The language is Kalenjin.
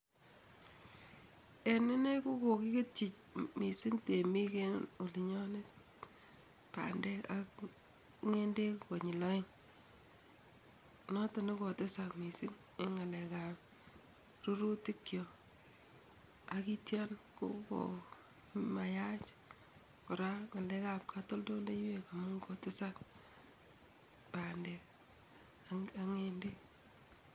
En inee kokokiketii mising tiemik eng olinyoon bandek ak ng'endek konyil aeng, noto nekotesak mising eng ngalekab rurutikyo akityo koko mayach kora ngalekab katoldoloiwek amun kotesak bandek ak ng'endek.